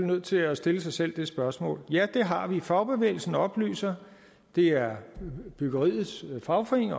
nødt til at stille sig selv det spørgsmål ja det har vi fagbevægelsen oplyser det er byggeriets fagforening